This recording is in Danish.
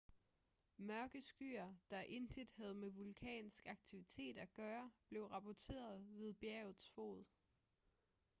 mørke skyer der intet havde med vulkansk aktivitet at gøre blev rapporteret ved bjergets fod